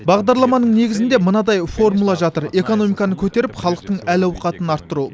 бағдарламаның негізінде мынадай формула жатыр экономиканы көтеріп халықтың әл ауқатын арттыру